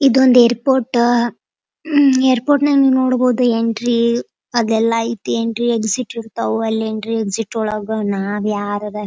ಇದೊಂದು airport airport ನಾಗ ನೋಡಬಹುದು ಎಂಟ್ರಿ ಅಲ್ಲೆಲ್ಲ ಎಂಟ್ರಿ ಎಕ್ಸಿಟ್ ಇರ್ತವು. ಎಂಟ್ರಿ ಎಕ್ಸಿಟ್ ಒಳಗ ನಾವ್ಯಾರು--